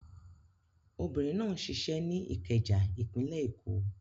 Obìnrin náà ń ṣiṣẹ́ ní Ìkẹjà, ìpínlẹ̀ Èkó.